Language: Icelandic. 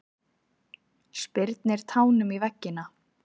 Spyrnir tánum í veggina.